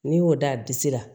N'i y'o da disi la